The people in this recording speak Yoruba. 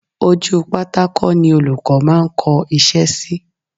Ojú pátákó ni Olùkọ́ máa ń kọ iṣẹ́ sí